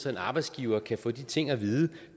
at en arbejdsgiver kan få de ting at vide